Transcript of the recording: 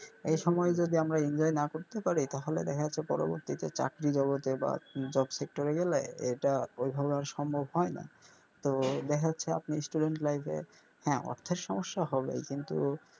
এই সময়ে যদি আমরা enjoy না করতে পারি তাহলে দেখা যাচ্ছে পরবর্তী ক্ষেত্রে চাকরি বা অথবা job sector এ গেলে এইটা ঐভাবে সম্ভব হয় না তো দেখা যাচ্ছে আপনি student life এ হ্যা অর্থের সমস্যা হবেই কিন্তু.